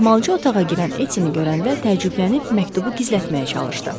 Ehmalcığ otağa girən Ettini görəndə təəccüblənib məktubu gizlətməyə çalışdı.